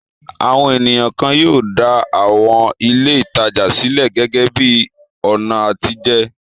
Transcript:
Àwọn ènìyàn kan yóò dá àwọn ilé-ìtajà sílẹ̀ gẹ́gẹ́ bí i ọ̀nà àtijẹ.